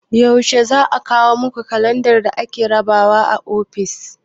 Yaushe za a kawo muku kalandar da ake rabawa a ofis?